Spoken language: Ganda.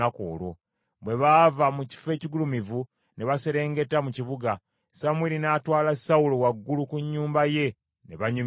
Bwe baava mu kifo ekigulumivu ne baserengeta mu kibuga, Samwiri n’atwala Sawulo waggulu ku nnyumba ye ne banyumyamu.